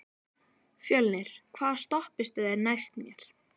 Fjölnir, hvaða stoppistöð er næst mér?